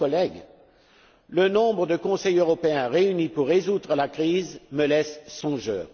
Chers collègues, le nombre de Conseils européens réunis pour résoudre la crise me laisse songeur.